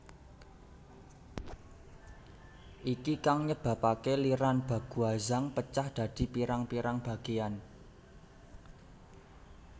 Iki kang nyebabake liran Baguazhang pecah dadi pirang pirang bageyan